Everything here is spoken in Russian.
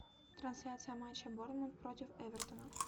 трансляция матча борнмут против эвертона